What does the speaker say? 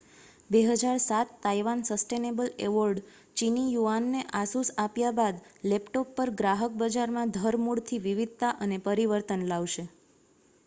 2007 Taiwan sustainable award ચીની યુઆનને Asus આપ્યા બાદ લેપટોપ પર ગ્રાહક બજારમાં ધરમૂળથી વિવિધતા અને પરિવર્તન લાવશે